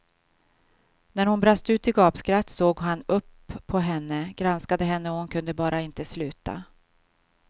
När hon brast ut i gapskratt såg han upp på henne, granskade henne och hon kunde bara inte sluta.